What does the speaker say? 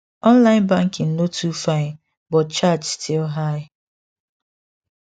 online banking no too fine but charge still high